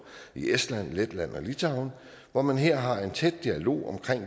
i estland letland og litauen hvor man her har en tæt dialog om